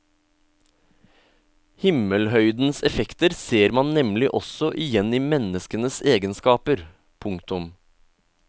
Himmelhøydens effekter ser man nemlig også igjen i menneskenes egenskaper. punktum